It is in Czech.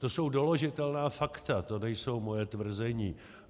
To jsou doložitelná fakta, to nejsou moje tvrzení.